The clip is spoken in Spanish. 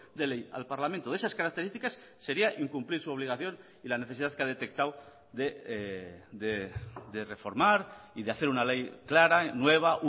de ley al parlamento de esas características seria incumplir su obligación y la necesidad que ha detectado de reformar y de hacer una ley clara nueva